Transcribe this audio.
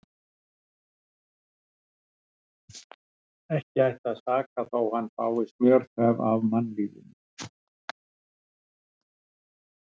Og ekki ætti að saka þó hann fái smjörþef af mannlífinu.